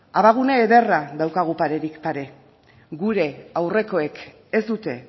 abagune ederra daukagu parerik pare gure aurrekoek ez dute